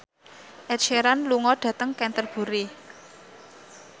Ed Sheeran lunga dhateng Canterbury